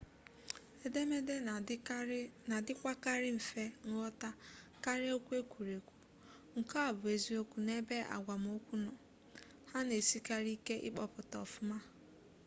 edemede na-adịkwakarị mfe nghọta karịa okwu ekwuru ekwu nke a bụ eziokwu n'ebe agwamokwu nọ ha na-esikarị ike ịkpọpụta ọfụma